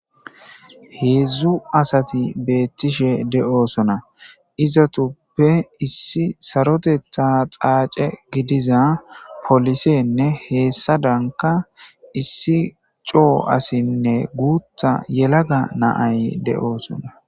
heedzdzu asati beettishe de7oosona izatuppe issi saroteta xaace gidiza polisenne heessa danka issi coo asinne guutta yelaga naay de7oosona